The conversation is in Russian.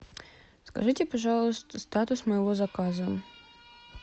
скажите пожалуйста статус моего заказа